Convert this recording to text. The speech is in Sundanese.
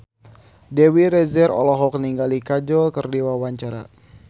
Dewi Rezer olohok ningali Kajol keur diwawancara